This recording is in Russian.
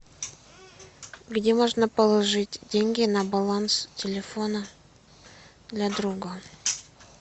где можно положить деньги на баланс телефона для друга